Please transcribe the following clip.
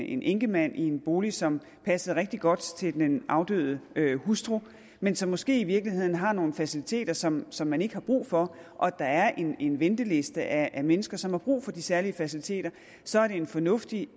en enkemand i en bolig som passede rigtig godt til den afdøde hustru men som måske i virkeligheden har nogle faciliteter som som man ikke har brug for og der er en en venteliste af mennesker som har brug for de særlige faciliteter så er det en fornuftig